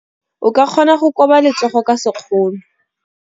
O ka kgona go koba letsogo ka sekgono.